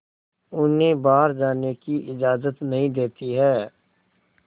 उन्हें बाहर जाने की इजाज़त नहीं देती है